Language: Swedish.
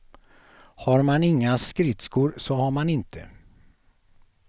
Har man inga skridskor, så har man inte.